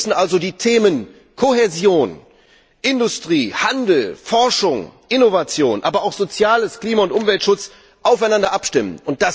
Wir müssen also die Themen Kohäsion, Industrie, Handel, Forschung, Innovation, aber auch Soziales, Klima und Umweltschutz aufeinander abstimmen.